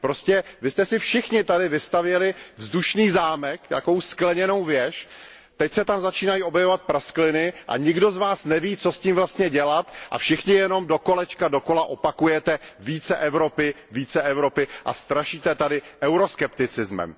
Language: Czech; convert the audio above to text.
Prostě vy jste si všichni tady vystavěli vzdušný zámek, takovou skleněnou věž, teď se tam začínají objevovat praskliny a nikdo z vás neví, co s tím vlastně dělat, a všichni jenom dokolečka dokola opakujete více Evropy, více Evropy, a strašíte tady euroskepticismem.